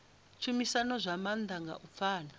tshumisano zwa maanḓa nga u pfana